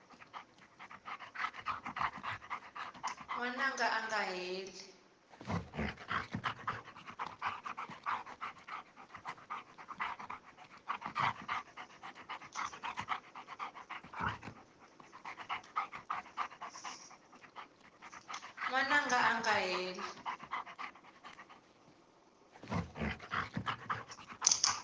n wananga a nga heli